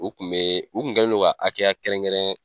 U tun bɛ u tun kɛlen don ka hakɛya kɛrɛnkɛrɛn